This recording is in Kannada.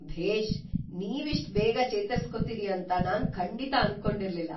ಭೇಷ್! ನೀವಿಷ್ಟ್‌ ಬೇಗ ಚೇತರ್ಸ್ಕೊತೀರಿ ಅಂತ ನಾನ್ ಖಂಡಿತ ಅನ್ಕೊಂಡಿರ್ಲಿಲ್ಲ.